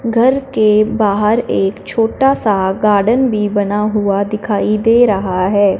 घर के बाहर एक छोटा सा गार्डन भी बना हुआ दिखाई दे रहा है।